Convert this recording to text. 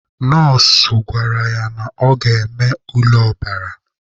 Nọọsụ gwara ya na ọ ga-eme ule ọbara.